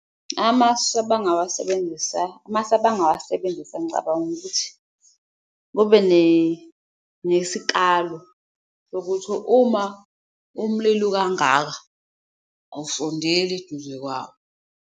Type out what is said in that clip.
Amasu abangawasebenzisa, amasu abangawasebenzisa ngicabanga ukuthi kube nesikalo sokuthi uma umlilo ukangaka awusondeli eduze kwawo.